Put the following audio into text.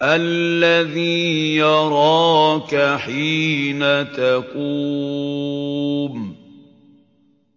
الَّذِي يَرَاكَ حِينَ تَقُومُ